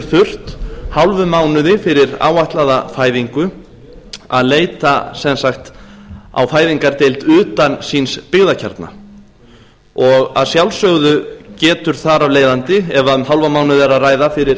þurft hálfum mánuði fyrir áætlaða fæðingu að leita sem sagt á fæðingardeild utan síns byggðarkjarna og að sjálfsögðu getur þar af leiðandi ef um hálfan mánuð að ræða fyrir